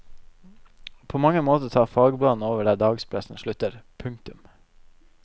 På mange måter tar fagbladene over der dagspressen slutter. punktum